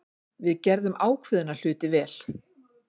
Við gerðum ákveðna hluti vel.